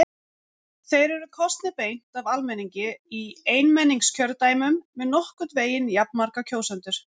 Þeir eru kosnir beint af almenningi í einmenningskjördæmum með nokkurn veginn jafnmarga kjósendur.